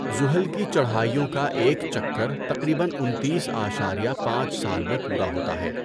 زُحَل کی چڑھائیوں کا ایک چکر تقریباً انتیس اعشاریہ پانچ سال میں پورا ہوتا ہے